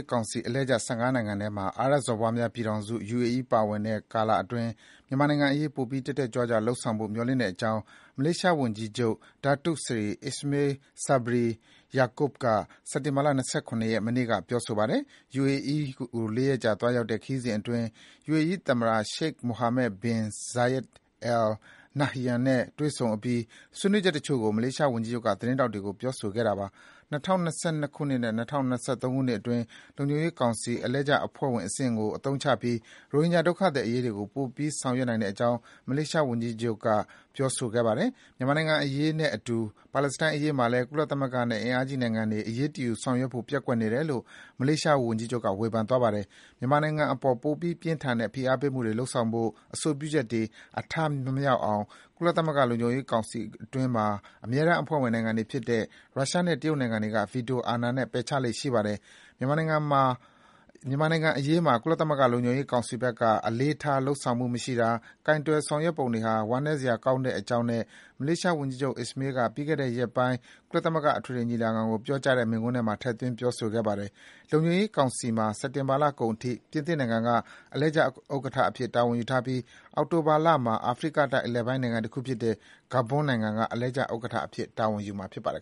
းကောင်စီအလှည့်ကျ ၁၅ နိုင်ငံထဲမှာ အာရပ်စော်ဘွားများပြည်ထောင်စု UAE ပါဝင်တဲ့ ကာလအတွင်း မြန်မာနိုင်ငံအရေး ပိုပြီး တက်တက်ကြွကြွ လုပ်ဆောင်ဖို့ မျှော်လင့်တဲ့အကြောင်း မလေးရှားဝန်ကြီးချုပ် Datuk Seri Ismail Sabri Yaakob က စက်တင်လာ ၂၇ ရက်၊ မနေ့က ပြောပါတယ်။ UAE လေးရက်ကြာသွားရောက်တဲ့ ခရီးစဉ်အတွင်း UAE သမ္မတ Sheikh Mohamed bin Zayed Al Nahyan နဲ့ တွေ့ဆုံအပြီး ဆွေးနွေးချက်တချို့ကို မလေးရှားဝန်ကြီးချုပ်က သတင်းထောက်တွေကို ပြောဆိုခဲ့တာပါ။ ၂၀၂၂ ခုနှစ်နဲ့ ၂၀၂၃ ခုနှစ်အတွင်း လုံခြုံရေးကောင်စီ အလှည့်ကျအဖွဲ့ဝင်အဆင့်ကို အသုံးချပြီး ရိုဟင်ဂျာ ဒုက္ခသည်အရေးကို ပိုပြီး ဆောင်ရွက်နိုင်တဲ့အကြောင်း မလေးရှားဝန်ကြီးချုပ် Ismail Sabri Yaakob က ပြောဆိုခဲ့ပါတယ်။ မြန်မာနိုင်ငံအရေးနဲ့အတူ ပါလက်စတိုင်းအရေးမှာလည်း ကုလသမဂ္ဂနဲ့ အင်အားကြီးနိုင်ငံတွေ အရေးတယူဆောင်ရွက်ဖို့ ပျက်ကွက်နေတယ်လို့ မလေးရှားဝန်ကြီးချုပ်က ဝေဖန်သွားပါတယ်။ မြန်မာနိုင်ငံအပေါ် ပိုပြီး ပြင်းထန်တဲ့ ဖိအားပေးမှုတွေ လုပ်ဆောင်ဖို့ အဆိုပြုချက်တွေ အထမမြောက်အောင် ကုသလမဂ္ဂ လုံခြုံရေးကောင်စီအတွင်းမှာ အမြဲတမ်းအဖွဲ့ဝင်နိုင်ငံတွေဖြစ်တဲ့ ရုရှားနဲ့ တရုတ်နိုင်ငံတွေက ဗီတိုအာဏာနဲ့ ပယ်ချလေ့ရှိပါတယ်။ မြန်မာနိုင်ငံအရေးမှာ ကုလသမဂ္ဂ လုံခြုံရေးကောင်စီဘက်က အလေးထား လုပ်ဆောင်မှုမရှိတာ၊ ကိုင်တွယ် ဆောင်ရွက်ပုံတွေဟာ ဝမ်းနည်းစရာကောင်းတဲ့အကြောင်း မလေးရှား ဝန်ကြီးချုပ် Ismail က ပြီးခဲ့တဲ့ရက်ပိုင်း ကုလသမဂ္ဂ အထွေထွေညီလာခံကို ပြောကြားတဲ့ မိန်းခွန်းထဲမှာ ထည့်သွင်းပြောဆိုသွားပါတယ်။ လုံခြုံရေးကောင်စီမှာ စက်တင်ဘာလကုန်အထိ ပြင်သစ်နိုင်ငံက အလှည့်ကျဥက္ကဋ္ဌအဖြစ် တာဝန်ယူထားပြီး အောက်တိုဘာလမှာ အာဖရိကတိုက် အလယ်ပိုင်း နိုင်ငံတခုဖြစ်တဲ့ Gabon နိုင်ငံက အလှည့်ကျဥက္ကဋ္ဌအဖြစ် တာဝန်ယူမှာဖြစ်ပါတယ်